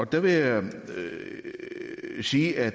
der vil jeg sige at